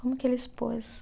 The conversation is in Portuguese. Como que ele expôs?